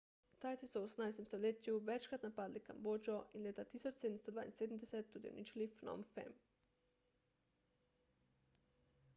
tajci so v 18 stoletju večkrat napadli kambodžo in leta 1772 tudi uničili phnom phen